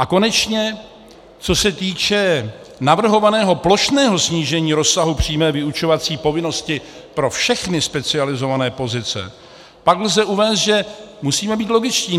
A konečně co se týče navrhovaného plošného snížení rozsahu přímé vyučovací povinnosti pro všechny specializované pozice, pak lze uvést, že musíme být logičtí.